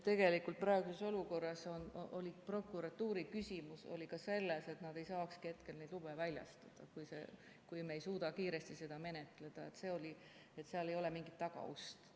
Tegelikult praeguses olukorras on prokuratuuri probleem ka selles, et nad ei saakski hetkel neid lube väljastada, kui me ei suuda kiiresti seda menetleda ja seal ei ole mingit tagaust.